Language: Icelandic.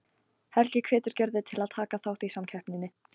Helgi hvetur Gerði til að taka þátt í samkeppninni.